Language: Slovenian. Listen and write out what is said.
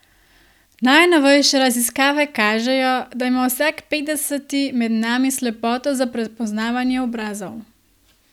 Najnovejše raziskave kažejo, da ima vsak petdeseti med nami slepoto za prepoznavanje obrazov.